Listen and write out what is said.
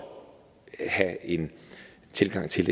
skal have en tilgang til